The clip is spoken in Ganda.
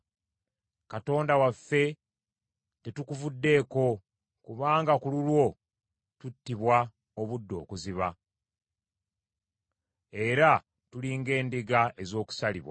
Katonda waffe, tetukuvuddeeko, kubanga ku lulwo tuttibwa obudde okuziba, era tuli ng’endiga ez’okusalibwa.